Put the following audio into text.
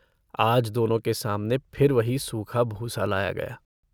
आज दोनों के सामने फिर वही सूखा भूसा लाया गया।